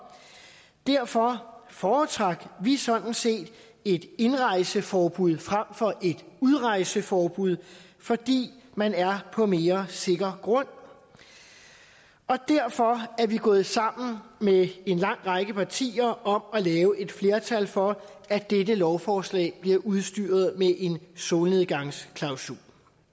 derfor foretrak vi sådan set et indrejseforbud frem for et udrejseforbud fordi man er på mere sikker grund og derfor er vi gået sammen med en lang række partier om at lave et flertal for at dette lovforslag bliver udstyret med en solnedgangsklausul